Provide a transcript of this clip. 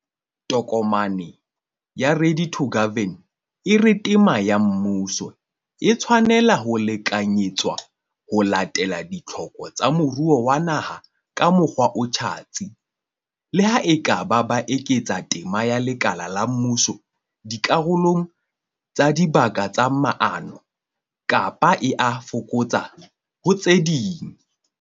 Tokomane ya 'Ready to Govern' e re tema ya mmuso "e tshwanela ho lekalekanyetswa ho latela ditlhoko tsa moruo wa naha ka mokgwa o tjhatsi", le ha e ka ba e eketsa tema ya lekala la mmuso dikarolong tsa dibaka tsa maano, kapa e a e fokotsa ho tse ding.